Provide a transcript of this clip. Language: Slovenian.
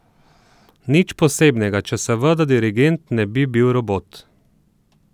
Nič posebnega, če seveda dirigent ne bi bil robot.